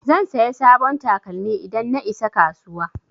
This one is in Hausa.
Zan saya sabon takalmi idan na isa kasuwa